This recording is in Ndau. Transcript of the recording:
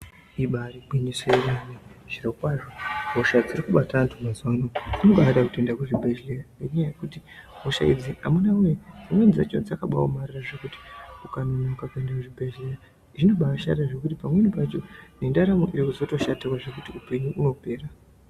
Ibari gwinyiso remene zviro kwazvo hosha dzirikubata anhu mazuwa ano ,zvinobaade kuende kuzvibhehleya ngenyaya yekuti hosha idzi amunawe!dzimweni dzacho dzakaba amorara zvekuti ukanonoka kuende kuchibhehlera zvinobaashata zvekuti pamweni pacho nendaramo inozoto shatawo zvekuti upenyu hunopera.